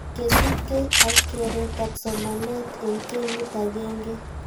Kosubke ak keretab somanet eng kenyit agenge